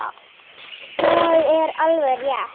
Það er alveg rétt.